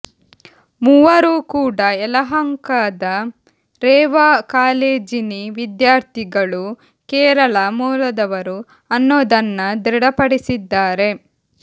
ಮೂವರು ಕೂಡ ಯಲಹಂಕದ ರೇವಾ ಕಾಲೇಜಿನಿ ವಿದ್ಯಾರ್ಥಿಗಳು ಕೇರಳ ಮೂಲದವರು ಅನ್ನೋದನ್ನ ದೃಢಪಡಿಸಿದ್ದಾರೆ